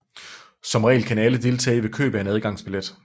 Som regel kan alle deltage ved køb af en adgangsbillet